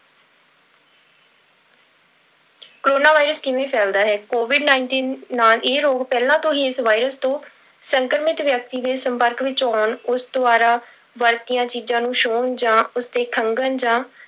corona virus ਕਿਵੇਂ ਫੈਲਦਾ ਹੈ covid nineteen ਨਾਲ ਇਹ ਰੋਗ ਪਹਿਲਾਂ ਤੋਂ ਹੀ ਇਸ virus ਤੋਂ ਸੰਕਰਮਿਤ ਵਿਅਕਤੀ ਦੇ ਸੰਪਰਕ ਵਿੱਚ ਆਉਣ, ਉਸ ਦੁਆਰਾ ਵਰਤੀਆਂ ਚੀਜ਼ਾਂ ਨੂੰ ਛੂਹਣ ਜਾਂ ਉਸਦੇ ਖੰਘਣ ਜਾਂ